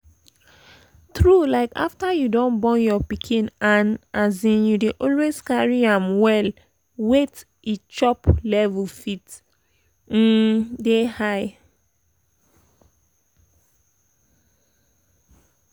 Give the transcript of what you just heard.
true like after you don born your pikin and um you dey always carry am well wait e chop levels fit um dey high